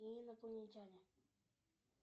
инопланетяне